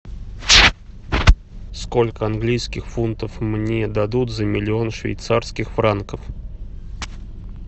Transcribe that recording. сколько английских фунтов мне дадут за миллион швейцарских франков